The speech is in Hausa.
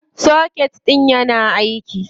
Soket ɗIn yana aiki.